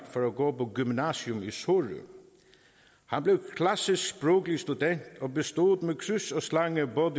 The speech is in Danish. for at gå på gymnasiet i sorø han blev klassisksproglig student og bestod med kryds og slange både